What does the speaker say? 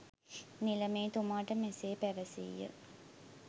නිලමේ තුමාට මෙසේ පැවැසීය.